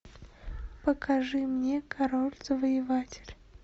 покажи мне король завоеватель